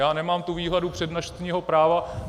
Já nemám tu výhodu přednostního práva.